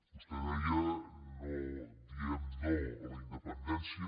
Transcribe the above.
vostè deia diem no a la independència